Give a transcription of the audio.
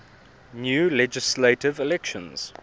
new legislative elections